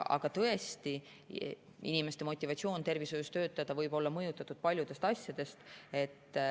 Aga tõesti, inimeste motivatsioon tervishoius töötada võib olla mõjutatud paljudest asjadest.